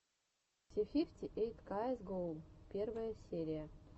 си фифти эйт каэс гоу первая серия